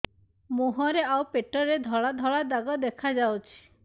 ମୁହଁରେ ଆଉ ପେଟରେ ଧଳା ଧଳା ଦାଗ ଦେଖାଯାଉଛି